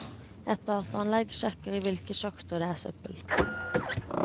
Et dataanlegg sjekker i hvilke sjakter det er søppel.